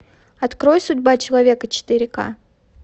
открой судьба человека четыре ка